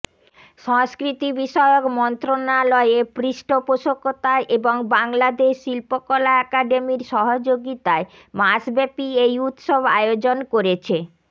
সংস্কৃতিবিষয়ক মন্ত্রণালয়ের পৃষ্ঠপোষকতায় এবং বাংলাদেশ শিল্পকলা একাডেমির সহযোগিতায় মাসব্যাপী এই উৎসব আয়োজন করেছে